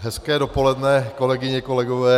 Hezké dopoledne, kolegyně, kolegové.